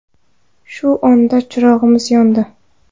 Shu onda chirog‘imiz yondi.